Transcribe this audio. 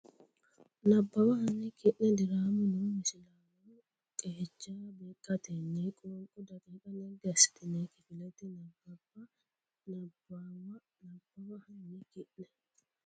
Nabbawa hanni ki ne diraamu noo misilaano qeecha beeqqatenni qoonqo daqiiqa naggi assitine kifilete nabbabbe Nabbawa Nabbawa hanni ki ne.